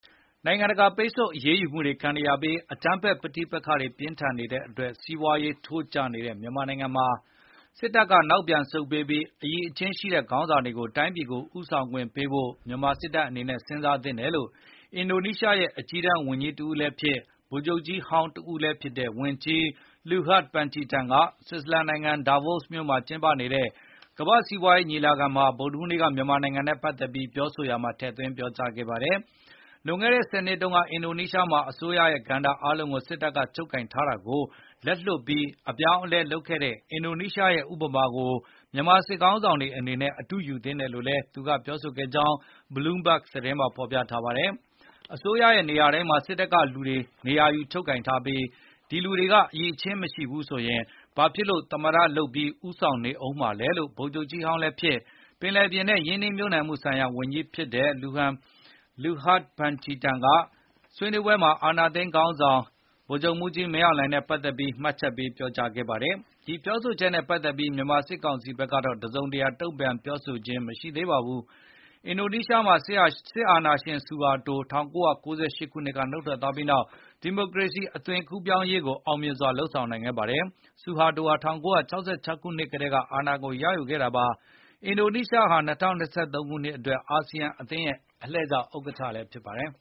နိုင်ငံတကာပိတ်ဆို့အရေးယူမှုတွေခံနေရပြီး အကြမ်းဖက်ပဋိပက္ခတွေပြင်းထန်နေတဲ့အတွက် စီးပွားရေးထိုးကျနေတဲ့မြန်မာနိုင်ငံမှာ စစ်တပ်ကနောက်ပြန်ဆုတ်ပေးပြီး အရည်အချင်းရှိတဲ့ခေါင်းဆောင်တွေက တိုင်းပြည်ကိုဦးဆောင်ခွင့်ပေးဖို့ မြန်မာစစ်တပ်အနေနဲ့စဉ်စားသင့်တယ်လို့ အင်ဒိုနီးရှားရဲ့အကြီးတန်းဝန်ကြီးတဦးလည်းဖြစ်၊ ဗိုလ်ချုပ်ကြီးဟောင်းတဦးလည်းဖြစ်တဲ့ ဝန်ကြီး Luhut Panjaitan က ဆွစ်ဇာလန်နိုင်ငံ ဒါဗို့စ် Davos မြို့မှာကျင်းပနေတဲ့ ကမ္ဘာ့စီးပွားရေးညီလာခံမှာ ဗုဒ္ဓဟူးနေ့က မြန်မာနိုင်ငံနဲ့ပတ်သက်ပြီးပြောကြားရာမှာ ထည့်သွင်းပြောကြားခဲ့ပါတယ်။ လွန်ခဲ့တဲ့ ၁၀ စုနှစ်တွေတုန်းက အင်ဒိုနီးရှားမှာ အစိုးရရဲ့ကဏ္ဍအားလုံးကို စစ်တပ်ကချုပ်ကိုင်ထားတာကို လက်လွှတ်ပြီး အပြောင်းအလဲလုပ်ခဲ့တဲ့ အင်ဒိုနီးရှားရဲ့ ဥပမာကို မြန်မာစစ်ခေါင်းဆောင်တွေအနေနဲ့ အတုယူသင့်တယ်လို့လည်း သူကပြောဆိုခဲ့ကြောင်း Bloomberg သတင်းမှာဖေါ်ပြထားပါတယ်။ အစိုးရရဲ့နေရာတိုင်းမှာ စစ်တပ်ကလူတွေ နေရာယူချုပ်ကိုင်ထားပြီး အဲဒိလူတွေက အရည်အချဉ်းမရှိဘူးဆိုရင် ဘာဖြစ်လို့ သမ္မတလုပ်ပြီး ဦးဆောင်နေဦးမှာလဲလို့ ဗိုလ်ချုပ်ကြီးဟောင်းလည်းဖြစ်၊ ပင်လယ်ပြင်နဲ့ ရင်းနှီးမြှုပ်နှံမှုဆိုင်ရာဝန်ကြီးဖြစ်တဲ့ Luhut Panjaitan က ဆွေးနွေးပွဲမှာ အာဏာသိမ်းစစ်ခေါင်းဆောင် ဗိုလ်ချုပ်မှူးကြီးမင်းအောင်လှိုင်နဲ့ပတ်သက်ပြီး မှတ်ချက် ပြုပြောကြားခဲ့ပါတယ်။ ဒီပြောဆိုချက်နဲ့ပတ်သက်ပြီး မြန်မာစစ်ကောင်စီဘက်ကတော့ တစုံတရာတုံ့ပြန်ပြောဆိုခြင်း မရှိသေးပါဘူး။ အင်ဒိုနီးရှားမှာ စစ်အာဏာရှင်ဆူဟာတို ၁၉၉၈ ခုနှစ်က နုတ်ထွက်သွားပြီးနောက် ဒီမိုကရေစီအသွင်ကူးပြောင်းရေးကို အောင်မြင်စွာလုပ်ဆောင်နိုင်ခဲ့ပါတယ်။ ဆူဟာတိုဟာ ၁၉၆၆ ခုနှစ်ကတည်းက အာဏာကိုရယူခဲ့တာပါ။ အင်ဒိုနီးရှားဟာ ၂၀၂၃ ခုနှစ်အတွက် ASEAN အသင်းရဲ့လှည်ကျဥက္ကဋ္ဌလည်းဖြစ်ပါတယ်